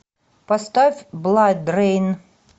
поставь бладрейн